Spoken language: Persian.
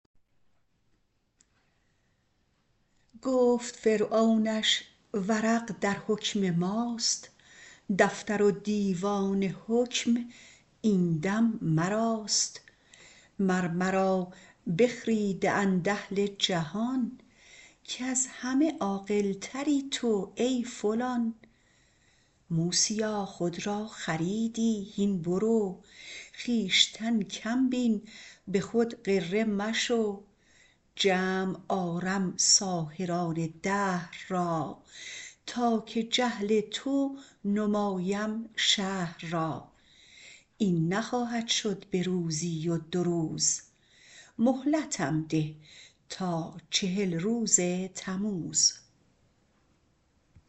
گفت فرعونش ورق درحکم ماست دفتر و دیوان حکم این دم مراست مر مرا بخریده اند اهل جهان از همه عاقلتری تو ای فلان موسیا خود را خریدی هین برو خویشتن کم بین به خود غره مشو جمع آرم ساحران دهر را تا که جهل تو نمایم شهر را این نخواهد شد به روزی و دو روز مهلتم ده تا چهل روز تموز